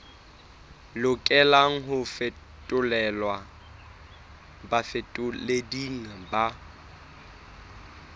lokelang ho fetolelwa bafetoleding ba